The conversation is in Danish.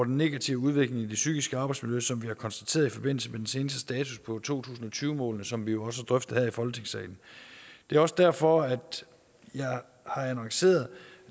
negative udvikling i det psykiske arbejdsmiljø som vi har konstateret i forbindelse med den seneste status på to tusind og tyve målene som vi jo også har drøftet her i folketingssalen det er også derfor at jeg har annonceret at